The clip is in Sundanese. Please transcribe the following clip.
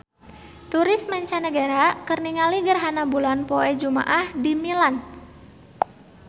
Turis mancanagara keur ningali gerhana bulan poe Jumaah di Milan